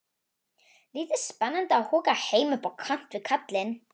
Lítið spennandi að húka heima upp á kant við kallinn.